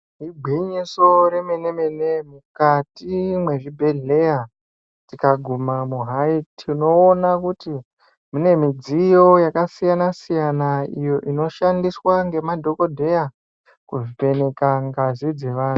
Igwinyiso remene-mene, mukati mwezvibhedhleya tikagumamwo hai, tinoona kuti mune midziyo yakasiyana-siyana iyo inoshandiswa ngemadhokodheya kuvheneka ngazi dzevanhu.